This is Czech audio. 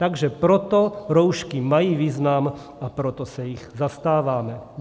Takže proto roušky mají význam a proto se jich zastáváme.